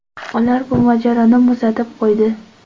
Ular bu mojaroni muzlatib qo‘ydi.